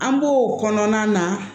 An b'o kɔnɔna na